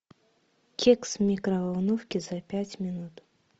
кекс в микроволновке за пять минут